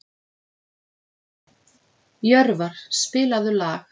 Jörvar, spilaðu lag.